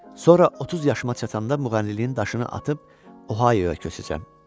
Sonra 30 yaşıma çatanda müğənniliyin daşını atıb Ohaioya köçəcəm.